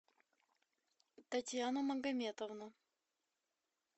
татьяну магометовну